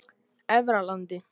Efralandi